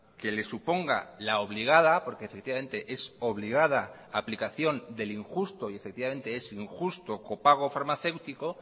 que le suponga la obligada porque efectivamente es obligada aplicación del injusto y efectivamente es injusto copago farmacéutico